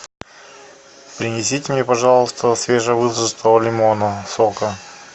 принесите мне пожалуйста свежевыжатого лимонного сока